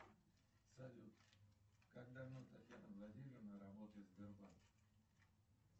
салют как давно татьяна владимировна работает в сбербанке